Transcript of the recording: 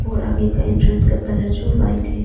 और आगे का एंट्रेंस का कलर जो वाइट है।